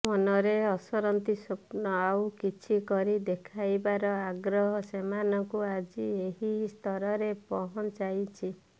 ମନରେ ଅସରନ୍ତି ସ୍ୱପ୍ନ ଆଉ କିଛି କରି ଦେଖାଇବାର ଆଗ୍ରହ ସେମାନଙ୍କୁ ଆଜି ଏହି ସ୍ତରରେ ପହଞ୍ଚାଇଛି